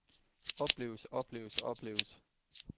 opleves opleves opleves